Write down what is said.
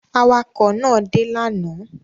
Awakọ̀ náà dé lánàá?